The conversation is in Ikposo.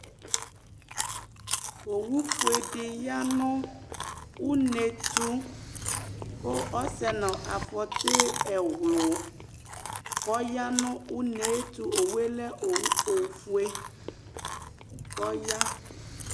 ɔwɔufɛdi wanu numɛto ku ɔsɛ nafɔti ɛɣnu kɔwanʊ nu ɔmɛtʊ ɔwɔ lɛ ɔwɔfɛ kʊ ɔwe